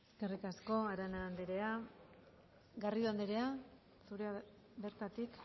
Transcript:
eskerrik asko arana anderea garrido anderea bertatik